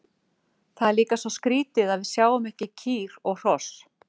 Það er líka svo skrítið að við sjáum ekki kýr og hross.